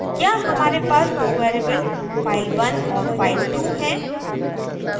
यहाँ हमारे पास दो variables file1 और file2 हैं